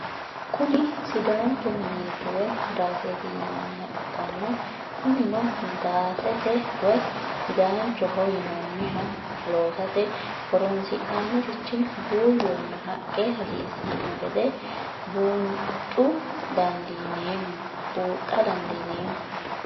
Kuni sidancho minet woye daasete yinaniha ikina kunino daasete woyi sidanchoho yinannha loosate horonsi'nannirichi buuyonna haqqe hassisano geede buunxu dandinemo?